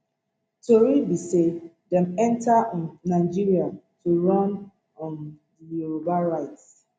tori be say dem enta um nigeria to run um di yoruba rights